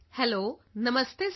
hello ਨਮਸਤੇ sir